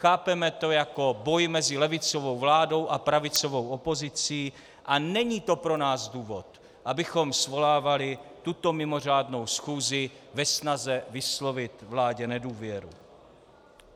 Chápeme to jako boj mezi levicovou vládou a pravicovou opozicí a není to pro nás důvod, abychom svolávali tuto mimořádnou schůzi ve snaze vyslovit vládě nedůvěru.